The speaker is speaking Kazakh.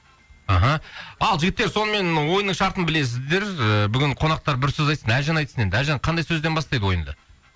аха ал жігіттер сонымен ойынның шартын білесіздер ііі бүгін қонақтар бір сөз айтсын әлжан айтсын енді әлжан қандай сөзден бастайды ойынды